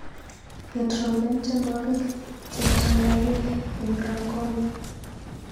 Ketrompen tyenwokik che ptang'anyik eng Rangoon.